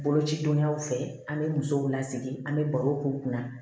Boloci donyaw fɛ an bɛ musow lasigi an bɛ barow k'u kunna